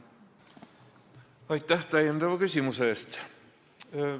Aitäh täiendava küsimuse eest!